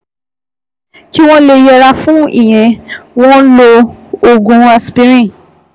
Kí wọ́n lè yẹra fún ìyẹn, wọ́n ń lo oògùn aspirin